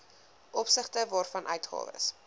opsigte waarvan uitgawes